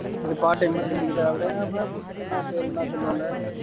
இத part time மாதிரி செஞ்சுக்கிட்டாகூட என்னா பேரு என்னா சொல்வாங்க